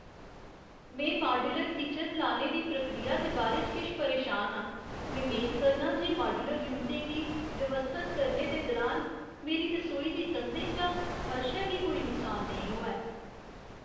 में modular kitchen लाने दी प्रक्रिया दे बारे च किश परेशान आं। में मेद करनां जे माड्यूलर यूनटें गी व्यवस्थत करने दे दुरान मेरी रसोई दी कंधें जां फर्शै गी कोई नुकसान नेईं होऐ।